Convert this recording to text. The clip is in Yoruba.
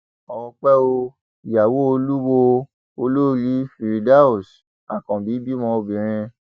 ọpẹ ò ìyàwó olùwòo olórí firdaus akànbí bímọ obìnrin